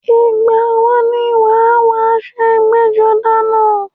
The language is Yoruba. Ìgbà wo ni wàá wọ aṣọ ẹgbẹ́-jọdá náà?